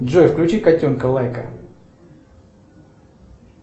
джой включи котенка лайка